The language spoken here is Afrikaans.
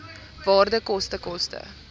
waarde koste koste